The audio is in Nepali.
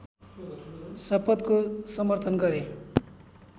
शपथको समर्थन गरे